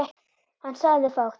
Hann sagði fátt.